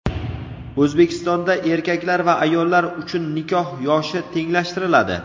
O‘zbekistonda erkaklar va ayollar uchun nikoh yoshi tenglashtiriladi.